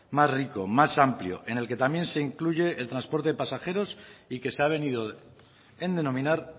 más rico más amplio en el que también se incluye el transporte de pasajeros y que se ha venido en denominar